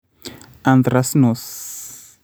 Anthracnose